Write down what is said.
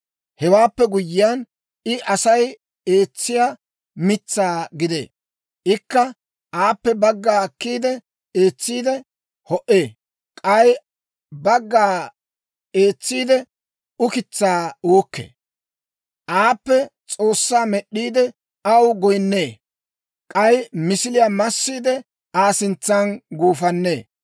Hewaappe guyyiyaan, I Asay eetsiyaa mitsaa gidee; ikka aappe bagga akkiide, eetsiide ho"ee; k'ay bagga eetsiide, ukitsaa uukkee. Aappekka s'oossaa med'd'iide, aw goyinnee; k'ay misiliyaa massiide, Aa sintsan gufannee.